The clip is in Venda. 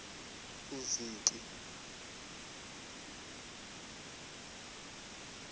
vhudziki